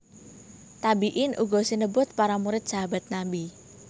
Tabiin uga sinebut para murid Sahabat Nabi